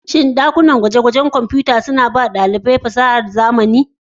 Shin ɗakunan gwaje-gwaje na Kimiyyar Kwamfuta da Injiniyan Injiniya a Legas suna ba wa ɗalibai fasahar zamani?